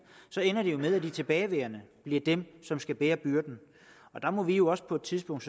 ender det jo med at de tilbageværende bliver dem som skal bære byrden der må vi jo også på et tidspunkt